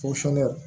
Fɔ sɔngɔ